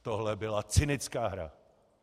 Tohle byla cynická hra.